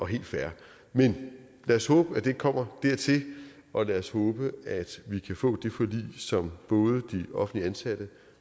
helt fair men lad os håbe at det ikke kommer dertil og lad os håbe at vi kan få det forlig som de offentligt ansatte